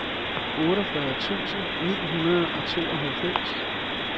otteogfyrre tusind ni hundrede og tooghalvfems